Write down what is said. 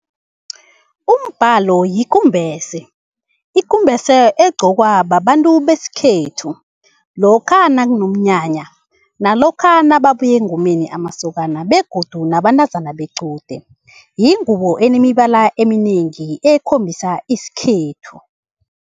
Umbalo yikumbese. Ikumbese egqokwa babantu besikhethu lokha nakunomnyanya, nalokha nababuya engomeni amasokana begodu nabantazana bequde. Yingubo enemibala eminengi ekhombisa isikhethu.